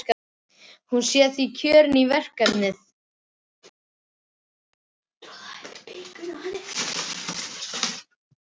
Hún sé því kjörin í verkefnið.